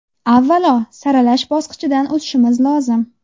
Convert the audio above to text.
Avvalo, saralash bosqichidan o‘tishimiz lozim.